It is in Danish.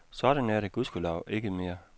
Sådan er det gudskelov ikke mere.